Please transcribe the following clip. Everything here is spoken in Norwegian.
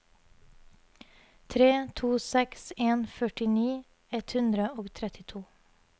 tre to seks en førtini ett hundre og trettito